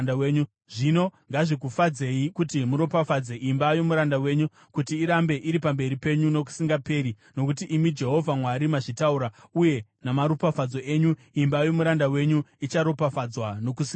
Zvino ngazvikufadzei kuti muropafadze imba yomuranda wenyu, kuti irambe iri pamberi penyu nokusingaperi; nokuti imi Jehovha Mwari, mazvitaura, uye namaropafadzo enyu, imba yomuranda wenyu icharopafadzwa nokusingaperi.”